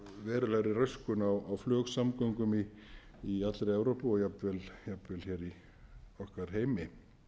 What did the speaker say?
verulegri röskun á flugsamgöngum í allri evrópu og jafnvel í okkar heimi